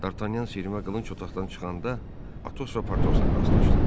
Dartanyan sirivə qılınc otaqdan çıxanda Atosla Partosla rastlaşdı.